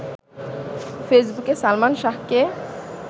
ফেসবুকে সালমান শাহকে